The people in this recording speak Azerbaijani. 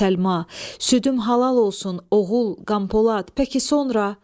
Südüm halal olsun, oğul Qanpolad, pəki sonra?